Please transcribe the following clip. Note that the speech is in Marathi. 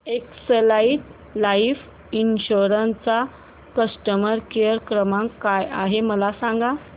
एक्साइड लाइफ इन्शुरंस चा कस्टमर केअर क्रमांक काय आहे मला सांगा